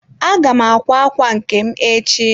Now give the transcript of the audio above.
Aga m akwa ákwà nke m echi.